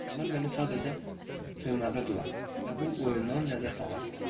Onlar məni sadəcə cınadırdılar və bu oyundan ləzzət alırdılar.